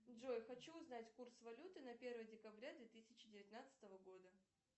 джой хочу узнать курс валюты на первое декабря две тысячи девятнадцатого года